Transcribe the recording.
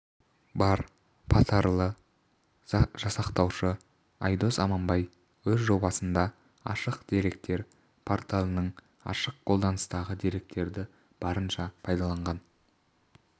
бар потарлды жасақтаушы айдос аманбай өз жобасында ашық деректер порталының ашық қолданыстағы деректерді барынша пайдаланған